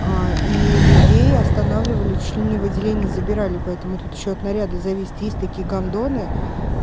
аа и людей останавливали чуть ли не в отделение забирали поэтому тут ещё от наряда зависит есть такие гандоны